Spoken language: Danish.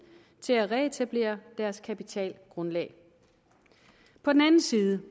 til at reetablere deres kapitalgrundlag på den anden side